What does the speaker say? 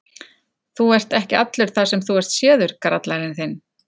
Þú ert ekki allur þar sem þú ert séður, grallarinn þinn!